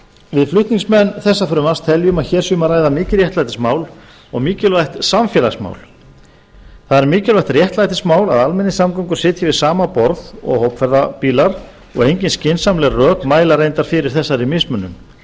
við flutningsmenn þessa frumvarps teljum að hér sé um að ræða mikið réttlætismál og mikilvægt samfélagsmál það er mikilvægt réttlætismál að almenningssamgöngur sitji við sama borð og hópferðabílar og engin skynsamleg rök mæla reyndar fyrir þessari mismunun